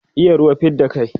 iya ruwa fidda kai